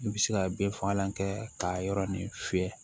I bɛ se ka bin fagalan kɛ ka yɔrɔ nin fiyɛ